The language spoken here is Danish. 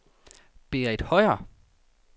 Berith Høier